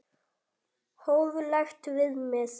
Hóflegt viðmið?